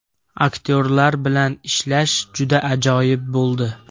Aktyorlar bilan ishlash juda ajoyib bo‘ldi”.